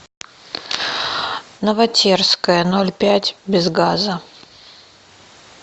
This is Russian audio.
новотерская ноль пять без газа